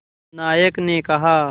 नायक ने कहा